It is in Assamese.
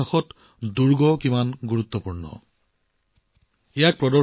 আমাৰ ইতিহাসত দুৰ্গৰ গুৰুত্ব আমি সকলোৱে জানো